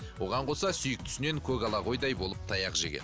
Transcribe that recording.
оған қоса сүйіктісінен көгала қойдай болып таяқ жеген